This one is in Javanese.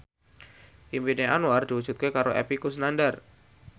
impine Anwar diwujudke karo Epy Kusnandar